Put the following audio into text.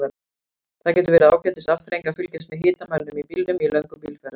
Það getur verið ágætis afþreying að fylgjast með hitamælinum í bílnum í löngum bílferðum.